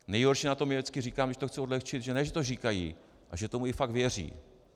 Nejhorší na tom je, vždycky říkám, když to chci odlehčit, že ne že to říkají, ale že tomu i fakt věří.